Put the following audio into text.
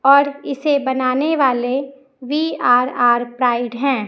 और इसे बनाने वाले बी_आर_आर प्राइड है।